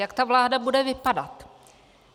Jak ta vláda bude vypadat?